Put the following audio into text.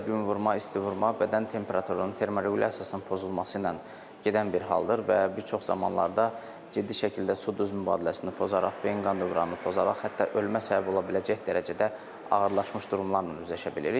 Günvurma isti vurma, bədən temperaturunun termorequlyasiyasının pozulması ilə gedən bir haldır və bir çox zamanlarda ciddi şəkildə su-duz mübadiləsini pozaraq, beyin qan dövranını pozaraq hətta ölmə səbəbi ola biləcək dərəcədə ağırlaşmış durumlarla üzləşə bilirik.